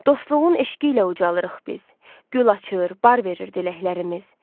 Dostluğun eşqi ilə ucalırıq biz, gül açır, bar verir diləklərimiz.